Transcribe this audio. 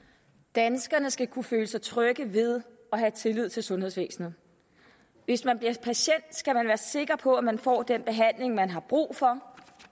danskerne skal kunne føle sig trygge ved og have tillid til sundhedsvæsenet hvis man bliver patient skal man være sikker på at man får den behandling man har brug for